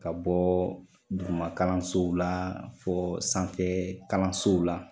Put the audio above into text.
Ka bɔ duguma kalansow la, fɔ sanfɛ kalansow la